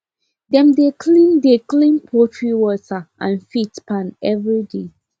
dem dey clean dey clean poultry water and feed pan every day